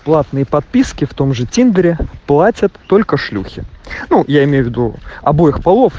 платные подписки в том же тендере платят только шлюхи ну я имею в виду обоих полов